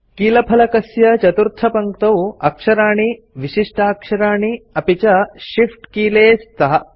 कीलफलकस्य चतुर्थपङ्क्तौ अक्षराणि विशिष्टाक्षराणि अपि च shift कीले च स्तः